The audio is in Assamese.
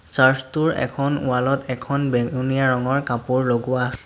চাৰ্চ টোৰ এখন ৱাল ত এখন বেঙুনীয়া ৰঙৰ কাপোৰ লগোৱা--